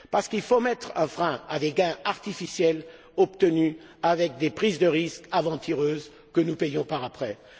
Parce qu'il faut mettre un frein à des gains artificiels obtenus avec des prises de risque aventureuses que nous payons par la suite.